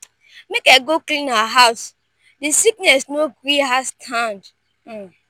make i go clean her house di sickness no gree her stand.